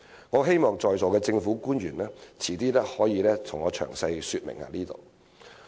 我希望在座的政府官員稍後可以就此向我詳細說明。